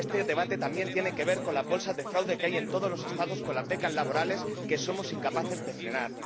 Este debate también tiene que ver con las bolsas de fraude que hay en todos los Estados con las becas laborales, que somos incapaces de frenar.